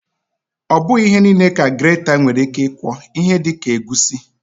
Ọbụghị ihe niile ka greta nwere ike ịkwọ, ihe dịka egusi